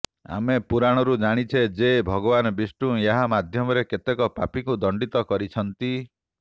ଆମେ ପୁରାଣରୁ ଜାଣିଛେ ଯେ ଭଗବାନ ବିଷ୍ଣୁ ଏହା ମାଧ୍ୟମରେ କେତେକ ପାପୀଙ୍କୁ ଦଣ୍ଡିତ କରିଛନ୍ତି